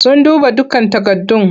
Sun duba dukkan takardun.